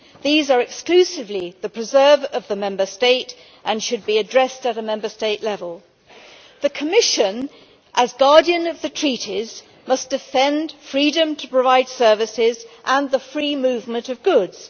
These are exclusively the preserve of the Member State and should be addressed at Member State level. The Commission, as guardian of the Treaties, must defend freedom to provide services and the free movement of goods.